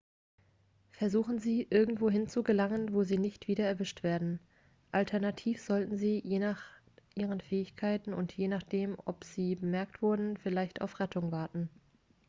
versuchen sie irgendwohin zu gelangen wo sie nicht wieder erwischt werden alternativ sollten sie je nach ihren fähigkeiten und je nachdem ob sie bemerkt wurden vielleicht auf rettung warten